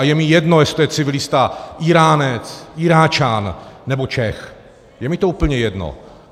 A je mi jedno, jestli je to civilista Íránec, Iráčan nebo Čech, je mi to úplně jedno.